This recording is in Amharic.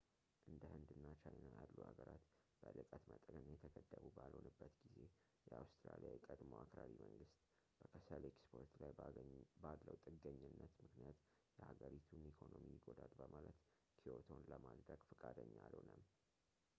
እንደ ህንድ እና ቻይና ያሉ ሀገራት በልቀት መጠን የተገደቡ ባልሆኑበት ጊዜ የአውስትራሊያ የቀድሞው አክራሪ መንግስት በከሰል ኤክስፖርት ላይ ባለው ጥገኝነት ምክንያት የሀገሪቱን ኢኮኖሚ ይጎዳል በማለት ክዮቶን ለማፅደቅ ፈቃደኛ አልሆነም